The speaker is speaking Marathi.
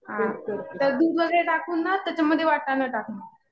तेच करते.